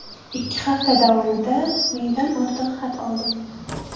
Ikki hafta davomida mingdan ortiq xat oldim.